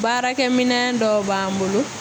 Baarakɛminɛn dɔw b'an bolo